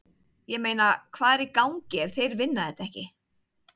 Ég meina, hvað er í gangi ef þeir vinna þetta ekki?!